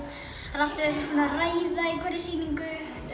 það er alltaf einhvers konar ræða í hverri sýningu